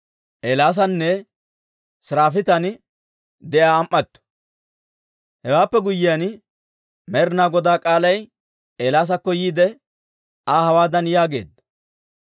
Hewaappe guyyiyaan Med'inaa Godaa k'aalay Eelaasakko yiide, Aa hawaadan yaageedda;